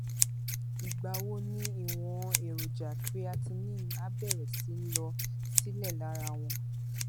ìgbà wo ni ìwọn èròjà creatinine á bẹrẹ sí í lọ sílẹ lára wọn